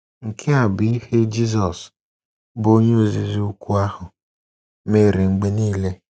Nke a bụ ihe Jizọs, bụ́ Onye Ozizi Ukwu ahụ, mere mgbe nile.